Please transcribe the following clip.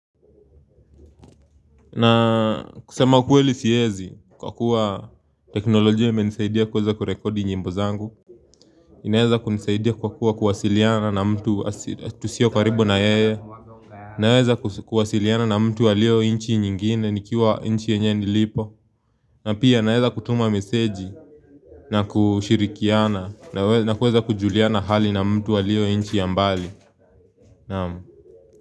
Na kusema kweli siwezi kwa kuwa teknolojia imenisaidia kuweza kurekodi nyimbo zangu. Inaweza kunisaidia kwa kuwa kuwasiliana na mtu tusiyo karibu na yeye naweza kuwasiliana na mtu aliyo nchi nyingine nikiwa nchi yenye nilipo. Na pia naweza kutuma meseji na kushirikiana na kuweza kujuliana hali na mtu aliyo nchi ya mbali naam.